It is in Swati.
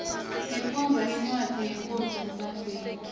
sifundza incwadzi yenkhosi mbhandzeni